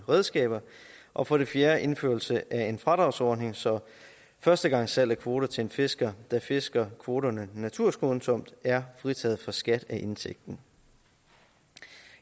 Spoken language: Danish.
redskaber og for det fjerde indførelse af en fradragsordning så førstegangssalg af kvoter til en fisker der fisker kvoterne naturskånsomt er fritaget for skat af indtægten